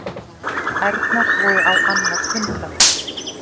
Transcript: Ærnar voru á annað hundrað.